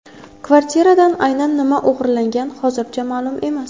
Kvartiradan aynan nima o‘g‘irlangan hozircha ma’lum emas.